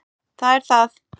Það er það!